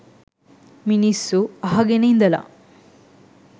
මිනිස්සු අහගෙන ඉඳලා